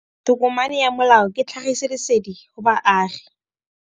Tokomane ya molao ke tlhagisi lesedi go baagi.